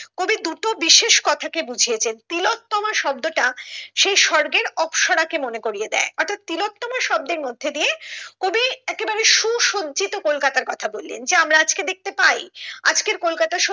কবি দুটো বিশেষ কথা কে বুঝিয়েছেন তিলোত্তমা শব্দটা সেই সর্গের অপ্সরা কে মনে করিয়ে দেয় অর্থাৎ তিলোত্তমা শব্দের মধ্যে দিয়ে কবি একেবারে সুসজ্জিত কলকতার কথা বললেন যে আমরা আজকে দেখতে পাই আজকের কলকাতা